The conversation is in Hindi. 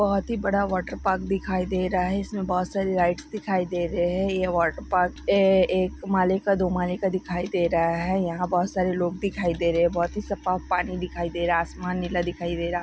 बहुत ही बड़ा वाटर पार्क दिख रहा है उसमे बहुत सारी लाइट्स दिखाई दे रही है यह वाटर पार्क ए-- एक माले का दो माले का दिखाई दे रहा है यहा बहुत सरे लोग दिखाई दे रहे हैबहुत ही सफा पानी दिखाई दे रहा आसमान नीला दिखई दे रहा है।